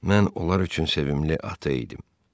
Mən onlar üçün sevimli ata idim.